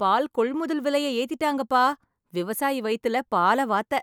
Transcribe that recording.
பால் கொள்முதல் விலைய ஏத்திடாங்கப்பா! விவாசயி வயித்தில பால வாத்த‌!